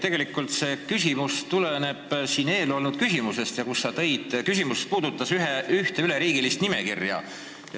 Tegelikult tuleneb mu küsimus ühest eelnevast küsimusest, mis puudutas ühte üleriigilist nimekirja.